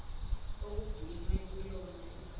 okugcinwe kuyona igugu